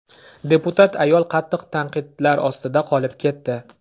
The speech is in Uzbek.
Deputat ayol qattiq tanqidlar ostida qolib ketdi.